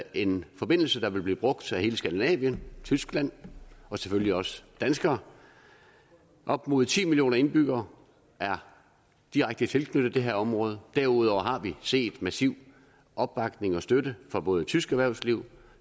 en forbindelse der vil blive brugt af hele skandinavien tyskland og selvfølgelig også danskere op mod ti millioner indbyggere er direkte tilknyttet det her område derudover har vi set massiv opbakning og støtte fra både tysk erhvervsliv og